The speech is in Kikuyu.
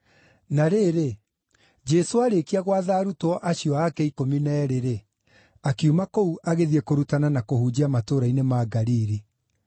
Na rĩrĩ, Jesũ aarĩkia gwatha arutwo acio ake ikũmi na eerĩ-rĩ, akiuma kũu agĩthiĩ kũrutana na kũhunjia matũũra-inĩ ma Galili.